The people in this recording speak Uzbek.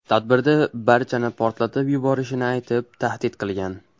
Tadbirda barchani portlatib yuborishini aytib tahdid qilgan.